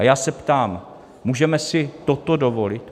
A já se ptám: můžeme si toto dovolit?